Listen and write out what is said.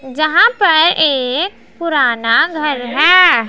जहां पर एक पुराना घर है।